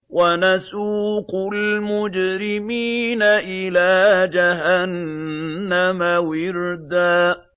وَنَسُوقُ الْمُجْرِمِينَ إِلَىٰ جَهَنَّمَ وِرْدًا